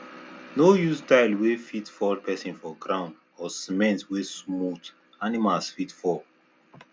no use tile wey fit fall person for ground or cement wey smooth animals fit fall